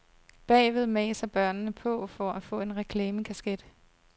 Bagved maser børnene på for at få en reklamekasket.